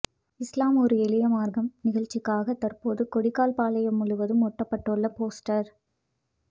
இஸ்லாம் ஓர் எளிய மார்க்கம் நிகழ்ச்சிக்காக தற்போது கொடிக்கால்பாளையம் முழுவதும் ஒட்டப்பட்டுள்ள போஸ்டர்